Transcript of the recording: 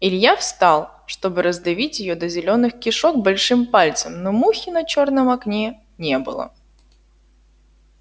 илья встал чтобы раздавить её до зелёных кишок большим пальцем но мухи на чёрном окне не было